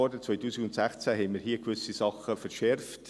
Im Jahr 2016 haben wir hier im Grossen Rat gewisse Sachen verschärft.